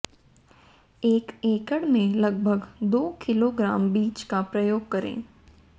एक एकड़ में लगभग दो किलोग्राम बीज का प्रयोग करें